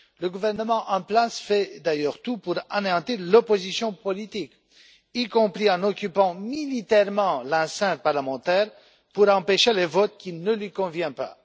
Le gouvernement en place fait d'ailleurs tout pour anéantir l'opposition politique, y compris en occupant militairement la scène parlementaire pour empêcher les votes qui ne lui conviennent pas.